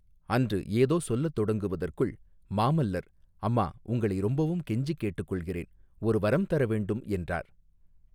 அன்று ஏதோ சொல்லத் தொடங்குவதற்குள் மாமல்லர் அம்மா உங்களை ரொம்பவும் கெஞ்சிக் கேட்டுக் கொள்கிறேன் ஒரு வரம் தர வேண்டும் என்றார்.